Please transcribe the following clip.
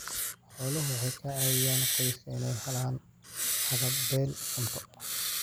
Xooluhu waxay ka caawiyaan qoyska inay helaan haqab-beel cunto.